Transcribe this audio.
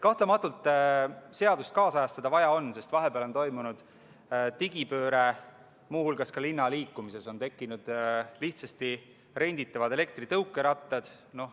Kahtlematult on vaja seadust kaasajastada, sest vahepeal on toimunud digipööre, muu hulgas on linnaliiklusesse tekkinud lihtsasti renditavad elektritõukerattad.